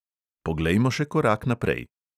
Poglejmo še korak naprej.